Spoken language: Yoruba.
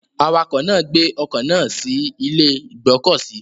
Awakọ̀ náà gbé ọkọ̀ náà sí ilé ìgbọ́kọ̀sí.